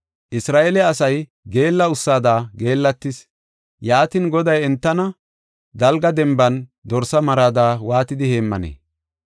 Isra7eele asay geella ussada geellatis. Yaatin, Goday entana dalga denban dorsa marada waatidi heemmanee?